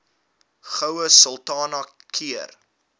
goue sultana keur